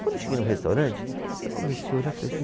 Quando eu cheguei no restaurante, eu comecei a olhar